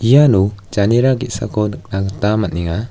iano janera ge·sako nikna gita man·enga.